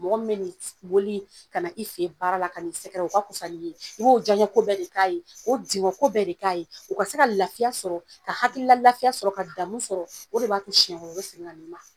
Mɔgɔ min bɛ wuli ka na i fe yen baara la, o ka kusa ni ye. I b'o jaɲɛ ko bɛɛ de k'a ye. Ko digɔ ko bɛɛ de k'a ye. O ka se ka lafiya sɔrɔ ka hakilila lafiya sɔrɔ ka damu sɔrɔ . O de ba to siɲɛ wɛrɛ o be segin ka na i ma.